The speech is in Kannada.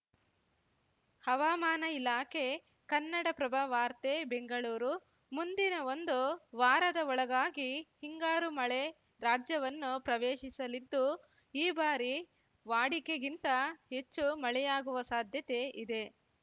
ಹವಾಮಾನ ಇಲಾಖೆ ಕನ್ನಡಪ್ರಭ ವಾರ್ತೆ ಬೆಂಗಳೂರು ಮುಂದಿನ ಒಂದು ವಾರದ ಒಳಗಾಗಿ ಹಿಂಗಾರು ಮಳೆ ರಾಜ್ಯವನ್ನು ಪ್ರವೇಶಿಸಲಿದ್ದು ಈ ಬಾರಿ ವಾಡಿಕೆಗಿಂತ ಹೆಚ್ಚು ಮಳೆಯಾಗುವ ಸಾಧ್ಯತೆ ಇದೆ